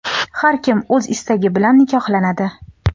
Har kim o‘z istagi bilan nikohlanadi.